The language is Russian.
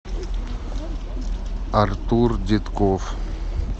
артур детков